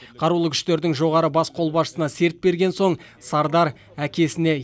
қарулы күштердің жоғарғы бас қолбасшысына серт берген соң сардар әкесіне